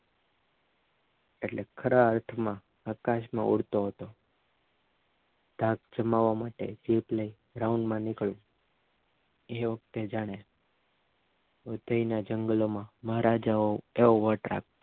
ખરા અર્થમાં આકાશમાં ઉડતો હતો ધાક જમાવવા માટે જેટલી રાઉન્ડ નીકળું તે વખતે જાણે જંગલોમાં મહારાજા જેવો વટ રાખ